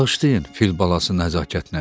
Bağışlayın, fil balası nəzakətlə dedi.